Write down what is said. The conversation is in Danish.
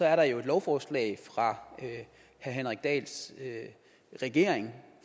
er et lovforslag fra herre henrik dahls regering